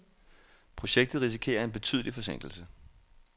Projektet risikerer en betydelig forsinkelse.